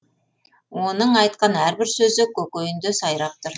оның айтқан әрбір сөзі көкейінде сайрап тұр